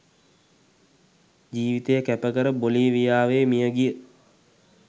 ජීවිතය කැපකර බොලීවියාවේ මියගිය